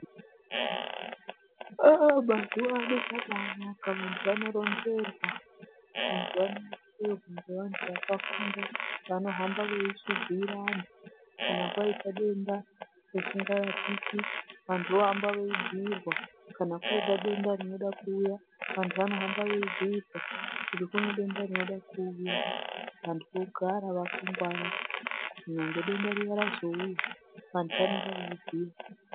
Aaaaah mazuvano zvabaanaka vantu vanoronzerwa. Ngevantu vakafunda vanohamba veibhuira vantu kana kwaita denda risingarapiki vantu vohamba veibhuirwa, kana koita denda rinoda kuuya vantu vanohamba veibhuirwa kuti kune denda rooda kuuya vantu vogara vakangwara. Kunyangwe denda riya razouya vantu vanenge veibhuirwa.